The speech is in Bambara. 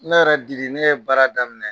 Ne yɛrɛ Diri ne ye baara daminɛ